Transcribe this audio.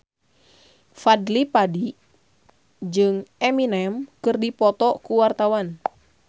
Fadly Padi jeung Eminem keur dipoto ku wartawan